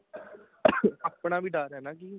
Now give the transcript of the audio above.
ing ਆਪਣਾ ਵੀ ਡਰ ਹੈ ਜੀ